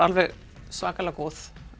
svakalega góð